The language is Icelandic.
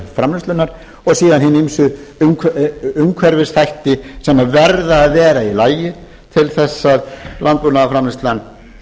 framleiðslunnar og síðan hina ýmsu umhverfisþætti sem verða að vera í lagi til þess að landbúnaðarframleiðslan